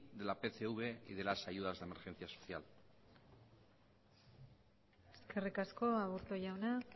de la pcv y de las ayudas de emergencia social eskerrik asko aburto jauna